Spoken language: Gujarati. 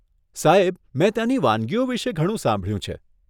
સાહેબ, મેં ત્યાંની વાનગીઓ વિશે ઘણું સાંભળ્યું છે.